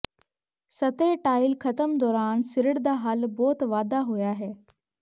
ਸਤਹ ਟਾਇਲ ਖ਼ਤਮ ਦੌਰਾਨ ਸਿਰੜ ਦਾ ਹੱਲ ਬਹੁਤ ਵਾਧਾ ਹੋਇਆ ਹੈ